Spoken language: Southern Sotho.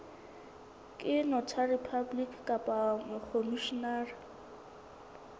ke notary public kapa mokhomishenara